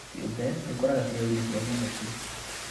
Kĩumbe gĩkuraga cero-inĩ cia nyamũ tu